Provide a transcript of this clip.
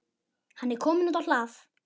Hann er kominn út á hlað.